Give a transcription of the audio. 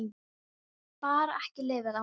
Ég get bara ekki lifað án þín.